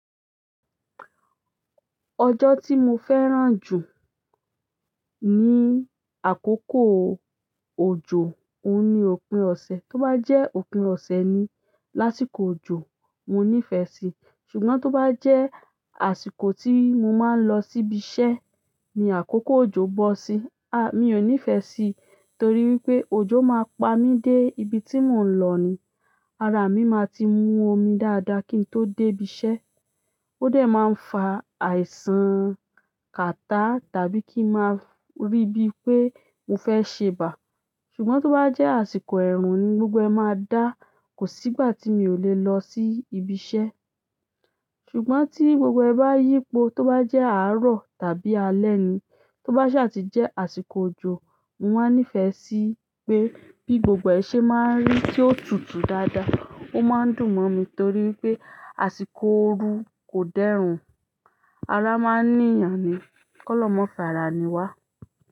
Ọjọ́ tí mo fẹ́ràn jù ní àkókò òjò. Ó ní òpin ọ̀sẹ̀. Tí ó bá jẹ́ òpin ọ̀sẹ̀ ni lásìkò òjò, mo nífẹ̀ẹ́ sí i. Ṣùgbọ́n tí ó bá jẹ́ àsìkò tí mo máa ń lọ síbi iṣẹ́ ní àkókò òjò bọ́ sí i, a, mi ò nífẹ̀ẹ́ sí i torí wípé òjò máa pa mí dé ibi tí mò ń lọ ni. Ara mi máa ti mu omi dáadáa kí n tó dé ibi iṣẹ́. Ó dẹ̀ máa ń fa àìsàn kàtá tàbí kí ń máa rí bí pé mo fẹ́ ṣe bà. Ṣùgbọ́n tí ó bá jẹ́ àsìkò ẹ̀rùn ni gbogbo ẹ máa dá, kò sí ìgbà tí mi ò le lọ sí ibi iṣẹ́. Ṣùgbọ́n tí gbogbo ẹ bá yípo, tí ó bá jẹ́ àárọ̀ tàbí alẹ́ ni, tó bá sì àti jẹ́ àsìkò òjò, mo máa ń nífẹ̀ẹ́ sí i pé bí gbogbo ẹ ṣe máa ń rí tí ó tutù dáadáa. Ó máa ń dùn mọ́ mi torí wípé àsìkò òru kò dẹ́rùn. Ara máa ń nìyan ni. Ki ọlọ́run ma farah ni wá.